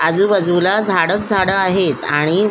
आजुबाजुला झाडच झाड आहेत आणि--